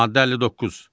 Maddə 59.